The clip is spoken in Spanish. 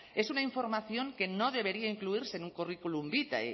es una información que no debería incluirse en un currículum vitae